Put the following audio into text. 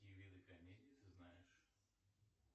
какие виды комедии ты знаешь